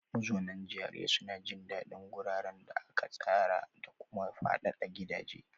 Mazaunan GRA suna jin daɗin guraren da aka tsara da kuma fadadan gidaje.